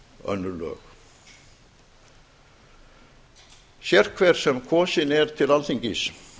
önnur lög sérhver sem kosinn er til alþingis